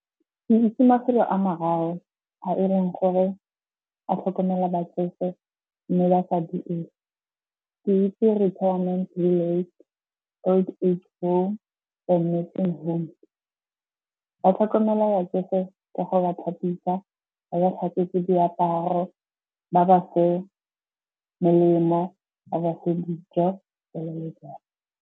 Ke itse mafelo a mararo a eleng gore a tlhokomela batsofe mme . Ke itse Retirement le Old Age Home . Ba tlhokomela batsofe ka go ba thapisa, ba ba tlhatswetse diaparo, ba ba fe melemo, ba ba fe dijo jalo le jalo.